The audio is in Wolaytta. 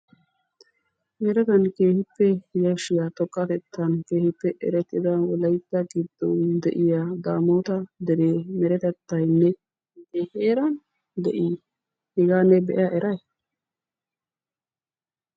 Meretan keehippe yashshiya xoqqatettan keehippe erettida wolaytta giddon de'iya daamoota deree meretettayinne ne heeran de'i? hegaa ne be'a eray?